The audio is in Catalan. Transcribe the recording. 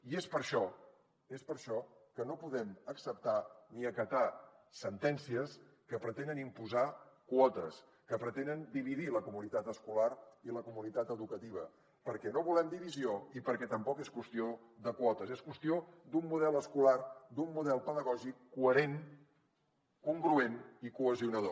i és per això és per això que no podem acceptar ni acatar sentències que pretenen imposar quotes que pretenen dividir la comunitat escolar i la comunitat educativa perquè no volem divisió i perquè tampoc és qüestió de quotes és qüestió d’un model escolar d’un model pedagògic coherent congruent i cohesionador